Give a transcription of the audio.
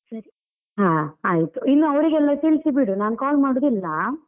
ಹಾ ಆಯ್ತು, ಇನ್ನು ಅವರಿಗೆಲ್ಲ ತಿಳ್ಸಿ ಬಿಡು ನಾನ್ call ಮಾಡುದಿಲ್ಲ.